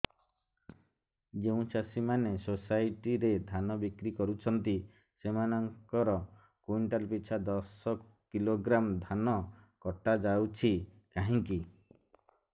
ଯେଉଁ ଚାଷୀ ମାନେ ସୋସାଇଟି ରେ ଧାନ ବିକ୍ରି କରୁଛନ୍ତି ସେମାନଙ୍କର କୁଇଣ୍ଟାଲ ପିଛା ଦଶ କିଲୋଗ୍ରାମ ଧାନ କଟା ଯାଉଛି କାହିଁକି